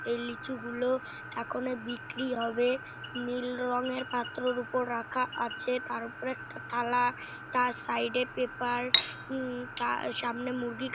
এই লিচু গুলো এখনের বিক্রি হবে। নীল রঙের পাত্রর উপর রাখা আছে তার ওপরে একটা থালা তার সাইড -এ পেপার উম তার সামনে মুরগি--